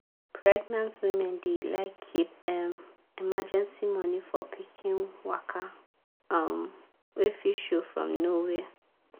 pregenant women dey like keep um emergency money for pikin waka um wey fit show from nowhere.